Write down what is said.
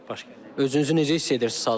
Özünüzü necə hiss edirsiz hazırda?